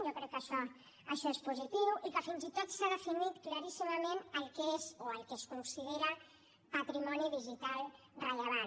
jo crec que això és positiu i que fins i tot s’ha definit claríssimament el que és o el que es considera patrimoni digital rellevant